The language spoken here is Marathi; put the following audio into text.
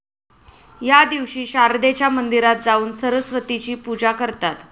या दिवशी शारदेच्या मंदिरात जाऊन सरस्वतीची पूजा करतात